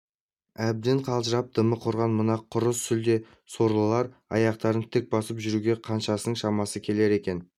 әбден қалжырап дымы құрыған мына құры сүлде сорлылардың аяқтарын тік басып жүруге қаншасының шамасы келер екен